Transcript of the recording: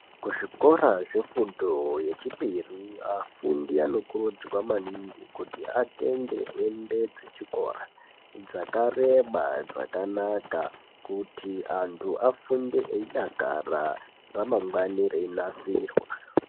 Kuzvikora zvefundo yechipiri afundi anokurudzirwa maningi kuti atenge hembe dzechikora dzakareba ,dzakanaka, kuti antu afunde eyidakara ramangwani reyinasirwa.